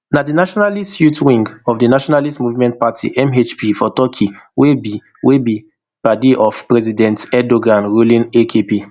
na di nationalist youth wing of di nationalist movement party mhp for turkey wey be wey be padi of president erdogan ruling akp